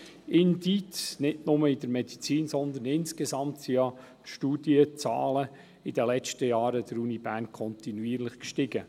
Die Studienzahlen an der Uni Bern sind ja in den letzten Jahren nicht nur in der Medizin, sondern insgesamt kontinuierlich gestiegen.